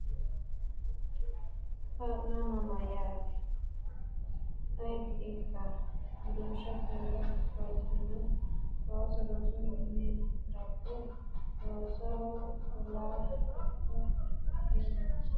Kaa’lama mayyaate? Ayeti ikka? Dusha keere galtini? ooso rosu mininni daggu? Loosoho fullohu heellakkonna billawa waa’linohu minira dayhu gedensaanni hayishshi’re uddi’re biife mine ofollanno Qumuce Soommita keere galitto?